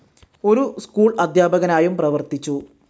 ഒരു സ്കൂൾ അധ്യാപകനായും പ്രവർത്തിച്ചു.